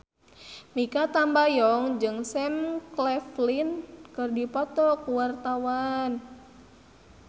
Mikha Tambayong jeung Sam Claflin keur dipoto ku wartawan